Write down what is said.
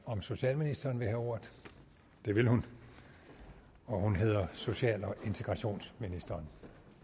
om socialministeren vil have ordet det vil hun og hun hedder social og integrationsministeren